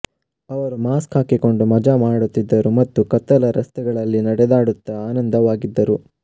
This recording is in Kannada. ಅವರು ಮಾಸ್ಕ್ ಹಾಕಿಕೊಂಡು ಮಜಾ ಮಾಡುತ್ತಿದ್ದರು ಮತ್ತು ಕತ್ತಲ ರಸ್ತೆಗಳಲ್ಲಿ ನಡೆದಾಡುತ್ತಾ ಆನಂದವಾಗಿದ್ದರು